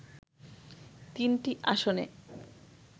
তিনটি আসনে